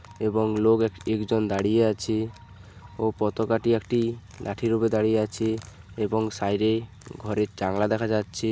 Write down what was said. এবং লোক এক একজন দাঁড়িয়ে আছে। ও পতোকাটি একটি লাঠি উপর দাঁড়িয়ে আছে এবং সাইডে ঘরের জানলা দেখা যাচ্ছে।